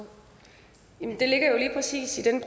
ind